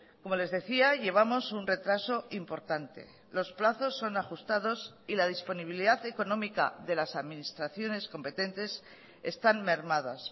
como les decía llevamos un retraso importante los plazos son ajustados y la disponibilidad económica de las administraciones competentes están mermadas